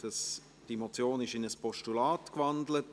Die Motion wurde in ein Postulat gewandelt.